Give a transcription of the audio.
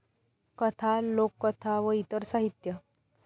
कथा, लोककथा व इतर साहित्य